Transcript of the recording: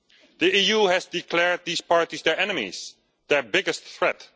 The EU has declared these parties their enemies, their biggest threat.